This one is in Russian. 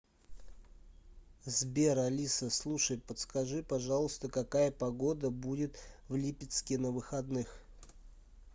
сбер алиса слушай подскажи пожалуйста какая погода будет в липецке на выходных